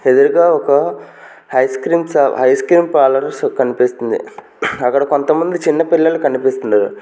ఎదురుగా ఒక ఐస్క్రీమ్స్ సా ఐస్క్రీమ్ పాలర్స్ కనిపిస్తుంది అక్కడ కొంత మంది చిన్న పిల్లలు కనిపిస్తున్నారు.